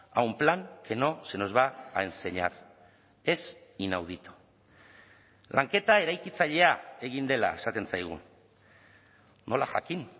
a un plan que no se nos va a enseñar es inaudito lanketa eraikitzailea egin dela esaten zaigu nola jakin